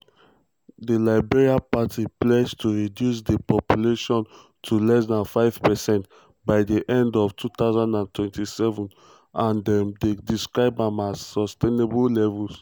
di liberal party pledge to reduce dis proportion to less dan 5 percent by di end of 2027 and dem describe am as "sustainable levels."